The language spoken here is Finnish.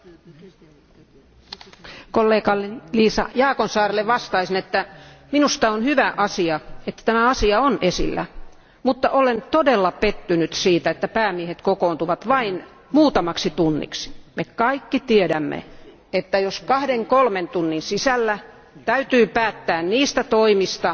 Arvoisa puhemies, kollegalleni Liisa Jaakonsaarelle vastaan, että on hyvä asia, että tämä asia on esillä. Mutta olen todella pettynyt siihen, että päämiehet kokoontuvat vain muutamaksi tunniksi. Me kaikki tiedämme, että kahden, kolmen tunnin sisällä ei pystytä päättämään niistä toimista,